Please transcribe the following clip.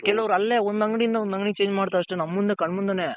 ಕೆಲವರ್ ಅಲ್ಲೇ ಒಂದ್ ಅಂಗಡಿ ಯಿಂದ ಒಂದ್ ಅಂಗಡಿಗೆ Change ಮಾಡ್ತಾರಷ್ಟೇ ನಮ್ ಮುಂದೆ ಕಣ್ ಮುಂದೇನೆ.